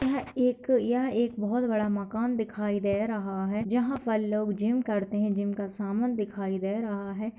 यह एक यह एक बहुत बड़ा मकान दिखाई दे रहा है जहाँ पर लोग जिम करते है जिम का सामान दिखाई दे रहा है।